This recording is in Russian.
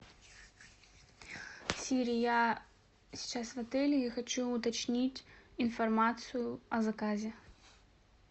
сири я сейчас в отеле и хочу уточнить информацию о заказе